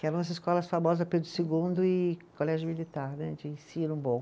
Que eram as escolas famosas, Pedro Segundo e Colégio Militar né, de ensino bom.